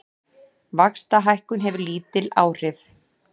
Vaxtahækkun hefur lítil áhrif